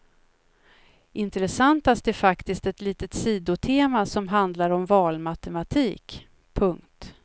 Intressantast är faktiskt ett litet sidotema som handlar om valmatematik. punkt